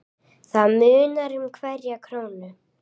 Það munar um hverja krónu.